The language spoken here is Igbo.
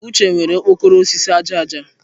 Uche nwere okpokoro osisi aja aja.